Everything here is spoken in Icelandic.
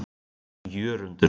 Jörundur